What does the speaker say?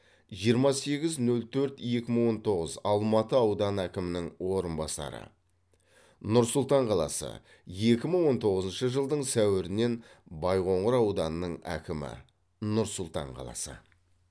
жиырма сегіз нөл төрт екі мың он тоғыз алматы ауданы әкімінің орынбасары нұр сұлтан қаласы екі мың он тоғызыншы жылдың сәуірінен байқоңыр ауданының әкімі нұр сұлтан қаласы